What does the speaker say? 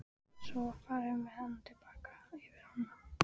Svo var farið með hana til baka yfir ána.